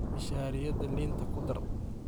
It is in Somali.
Mishariyadha liinta kudhar.